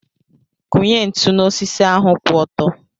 Kụnye ntụ n'osisi ahu kwụ ọtọ.